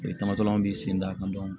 tama bi sen da kan